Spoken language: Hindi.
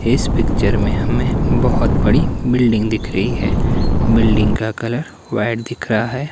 इस पिक्चर में हमें बोहोत बड़ी बिल्डिंग दिख रही है बिल्डिंग का कलर व्हाइट दिख रहा है।